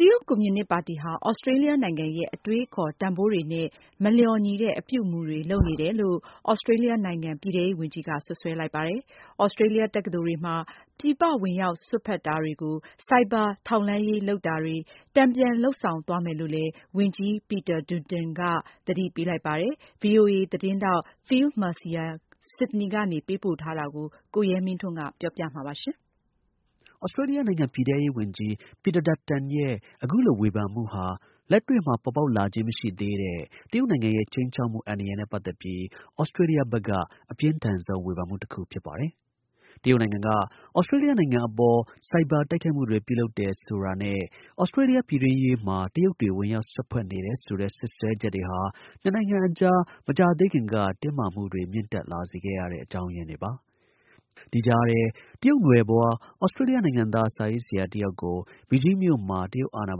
တရုတ်ကွန်မြူနစ်ပါတီဟာ သြစတြေးလျနိုင်ငံရဲ့ အတွေးအခေါ် တန်ဖိုးတွေနဲ့ မလျော်ညီတဲ့ အပြုအမူတွေလုပ်နေတယ်လို့ သြစတြေးလျနိုင်ငံပြည်ထဲရေးဝန်ကြီးက စွပ်စွဲလိုက်ပါတယ်။ သြစကြေးလျတက္ကသိုလ်တွေမှာ ပြည်ပဝင်ရောက်စွက်ဖက်တာတွေ၊ Cyber ထောက်လှမ်းရေးလုပ်တာတွေကို တန်ပြန်လုပ်ဆောင်သွားမယ်လို့လည်း ဝန်ကြီး Peter Dutton က သတိပေးလိုက်ပါတယ်။ VoA သတင်းထောက် Phil Mercer, Sydney ကနေပေးပို့ထားတာကို ကိုရဲမင်းထွန်းပြောပြပေးပါမယ်။ သြစတြေးလျနိုင်ငံ ပြည်ထဲရေးဝန်ကြီး Peter Dutton ရဲ့ အခုလိုဝေဖန်ချက်ဟာ လက်တွေ့မှာ ပေါ်ပေါက်လာခြင်းမရှိသေးတဲ့ တရုတ်နိုင်ငံရဲ့ ခြိမ်းခြောက်မှုအန္တရာယ်နဲ့ပတ်သက်ပြီး သြစတြေးလျဘက်က အပြင်းထန်ဆုံးဝေဖန်မှုတခု ဖြစ်ပါတယ်။ တရုတ်နိုင်ငံက သြစတြေးလျနိုင်ငံအပေါ် ဆိုင်ဘာတိုက်ခိုက်မှုတွေ ပြုလုပ်တယ်ဆိုတာတွေနဲ့ သြစတြေးလျ ပြည်တွင်းရေးမှာ တရုတ်တွေ ဝင်ရောက်စွက်ဖက်တယ်ဆိုတဲ့စွပ်စွဲချက်တွေဟာ နှစ်နို်င်ငံအကြား မကြာသေးခင်က တင်းမာမှုတွေ မြင့်တက်လာစေခဲ့ရတဲ့အကြောင်းရင်းတွေပါ။ ဒီကြားထဲ တရုတ်နွယ်ဖွား သြစတြေးလျနိုင်ငံသား စာရေးဆရာတယောက်ကို ဘီဂျင်းမြို့မှာ တရုတ်အာဏာ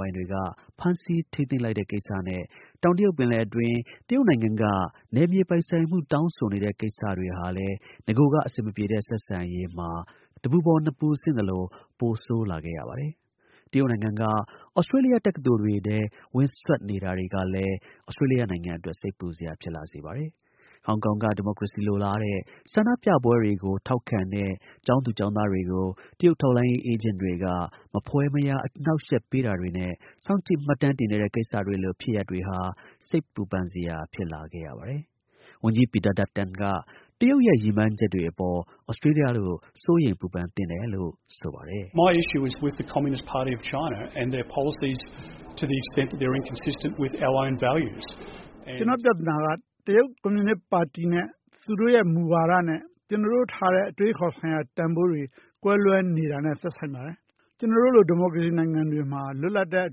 ပိုင်တွေက ဖမ်းဆီးထိန်းသိမ်းလိုက်တဲ့ကိစ္စနဲ့ တောင်တရုတ်ပင်လယ်အတွင်း တရုတ်နိုင်ငံက နယ်မြေပိုင်ဆိုင်မှုကို တောင်းဆိုနေတဲ့ကိစ္စဟာလည်း နဂိုက အဆင်မပြေတဲ့ဆက်ဆံရေးမှာ တပူပေါ် နှစ်ပူဆင့်သလို ပိုဆိုး လာစေခဲ့ရပါတယ်။ တရုတ်နို်င်ငံက သြစတြေးလျတက္ကသိုလ်တွေထဲ ဝင်စွက်နေတာတွေကလည်း သြစတြေးလျနိုင်ငံအတွက် စိတ်ပူစရာပါ။ ဟောင်ကောင်က ဒီမိုကရေစီလိုလားတဲ့ ဆန္ဒပြပွဲတွေကို ထောက်ခံတဲ့ ကျောင်းသူကျောင်းသားတွေကို တရုတ် ထောက် လှမ်းရေး အေးဂျင့်တွေက မဖွယ်မရာ အနှောက်အယှက်ပေးတာတွေနဲ့ စောင့်ကြည့် မှတ်တမ်းတင်နေတဲ့ကိစ္စတွေလို ဖြစ်ရပ်တွေဟာ စိတ်ပူပန်စရာ ကိစ္စတွေ ဖြစ်လာခဲ့ပါတယ်။ ဝန်ကြီး Peter Dutton က တရုတ်ရဲ့ ရည်မှန်းချက်တွေအပေါ် သြစတြေးလျတို့ စိုးရိမ်ပူပန်သင့်တယ်လို့ ဆိုပါတယ်။ ”ကျနော့်ပြဿနာက တရုတ်ကွန်မြူနစ်ပါတီနဲ့ သူတို့ရဲ့မူဝါဒတွေနဲ့ ကျနော်တို့ထားတဲ့ အတွေးအခေါ်ဆိုင်ရာတန်ဖိုးတွေ ကွဲလွဲနေတာနဲ့ သက်ဆိုင်တယ်။ ကျနော်တို့လို ဒီမိုကရေစီနိုင်ငံတွေမှာ လွတ်လပ်တဲ့အ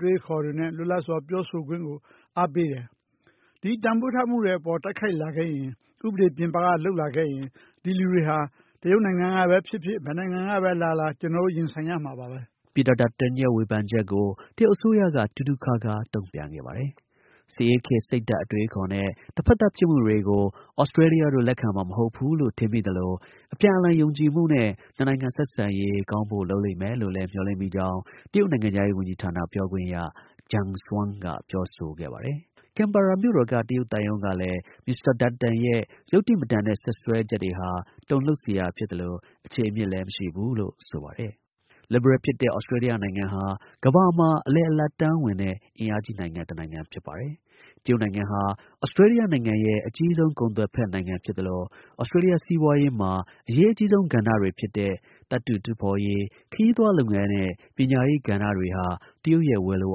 တွေးအခေါ်တွေနဲ့ လွတ်လပ်စွာ ပြောဆိုခွင့်ကို အားပေးတယ်။ ဒီ တန်ဖိုးတွေအပေါ် တိုက်ခိုက်လာခဲ့ရင် ဥပဒေပြင်ပကလုပ်လာခဲ့ရင် ဒီလူတွေ တရုတ် နိုင်ငံ ကပဲ ဖြစ်ဖြစ် ဘယ်တိုင်းပြည်ကပဲလာလာ ကျနော်တို့ရင်ဆိုင်ကြရမှာပဲ။” Peter Dutton ရဲ့ ဝေဖန်ချက်ကို တရုတ်အစိုးရက တူးတူးခါးခါး တုံ့ပြန်ခဲ့ပါတယ်။ စစ်အေးခေတ် စိတ်ဓါတ်အတွေးအခေါ်နဲ့ တဖက်သတ်ဖြစ်မှုတွေကို သြစတြေးလျတို့ လက်ခံမှာမဟုတ်ဘူးလို့ထင်မိသလို အပြည်အလှန် ယုံကြည်မှုနဲ့ နှစ်နိုင်ငံ ဆက်ဆံရေးကောင်းဖို့လုပ်လိမ့်မယ်လို့လည်း မျှော်လင့်မိကြောင်း တရုတ်နိုင်ငံခြားရေးဝန်ကြီးဌာန ပြောခွင့်ရ Geng Shuang က ပြောဆိုခဲ့ပါတယ်။ ကင်ဘာရာမြို့တော်က တရုတ်သံရုံးကလည်း Mr Dutton ရဲ့ ယုတ္တိမတန်တဲ့ စွပ်စွဲချက်တွေဟာ တုန်လှုပ်စရာဖြစ်သလို အခြေအမြစ်လည်း မရှိဘူးလို့ ဆိုပါတယ်။ လစ်ဘရယ်ဖြစ်တဲ့ သြစတြေးလျနိုင်ငံဟာ ကမ္ဘာမှာ အလယ်အလတ်တန်းဝင်တဲ့ အင်အားကြီးတစ်နိုင်ငံ ဖြစ်ပါတယ်။ တရုတ်နိုင်ငံဟာ သြစတြေးလျရဲ့ အကြီးဆုံး ကုန်သွယ်ဖက်နိုင်ငံဖြစ်သလို သြစတြေးလျ စီးပွားရေးမှာ အရေးအကြီးဆုံး ကဏ္ဍတွေဖြစ်တဲ့ သတ္တုတူးဖော်ရေး၊ ခရီးသွားလုပ်ငန်းနဲ့ ပညာရေးကဏ္ဍတွေဟာ တရုတ်ရဲ့ ဝယ်လို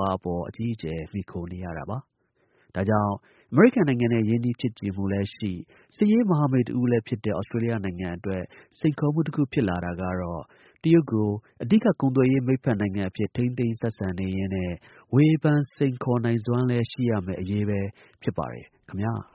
အားအပေါ် အကြီးအကျယ် မှီခိုနေရတာပါ။ ဒါကြောင့် အမေရိကန်နိုင်ငံနဲ့ ရင်းနှီးချစ်ကြည်မှုလည်းရှိ စစ်ရေး မဟာမိတ်တစ်ဦးလည်းဖြစ်တဲ့ သြစတြေးလျနိုင်ငံအတွက် စိန်ခေါ်မှုတစ်ခု ဖြစ်လာတာကတော့ တရုတ်ကို အဓိက ကုန်သွယ်ရေး မိတ်ဖက်နိုင်ငံအဖြစ် ထိန်းသိမ်းဆက်ဆံနေရင်းနဲ့ ဝေဖန်စိန်ခေါ်နိုင်စွမ်းလည်း ရရှိရမယ့် အရေးပဲ ဖြစ်ပါတယ် ခင်ဗျား။